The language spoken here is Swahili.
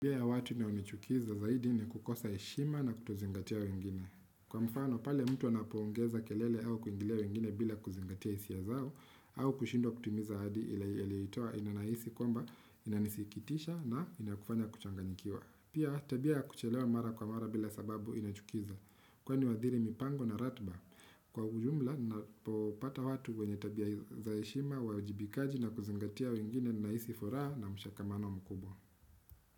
Tabia ya watu inayonichukiza zaidi ni kukosa heshima na kutozingatia wengine. Kwa mfano, pale mtu anapoongeza kelele au kuingilia wengine bila kuzingatia hisia zao, au kushindwa kutimiza ahadi aliyoitoa ninahisi kwamba, inanisikitisha na inakufanya kuchanganyikiwa. Pia tabia ya kuchelewa mara kwa mara bila sababu inachukiza. Kwani wadhiri mipango na ratiba. Kwa ujumla, ninapopata watu wenye tabia za heshima, uwajibikaji na kuzingatia wengine ninahisi furaha na mshikamano mkubwa.